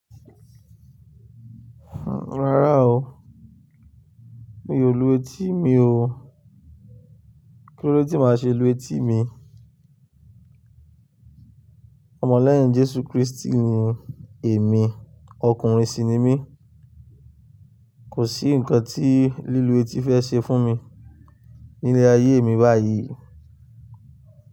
Rárá ó, mi ó lú etí mi ó. Kílódé tí màá ṣe lu etí mi? Ọmọ lẹ́yìn Jésù Kristi ni èmi, ọkùnrin sì ni mí. Kò sí ǹkan tí lílu etí fẹ́ ṣe fún mi nílé ayé mi báyìí.